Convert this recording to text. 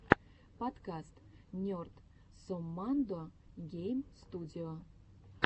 подкаст нерд соммандо гейм студио